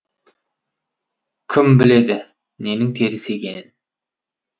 кім біледі ненің теріс екенін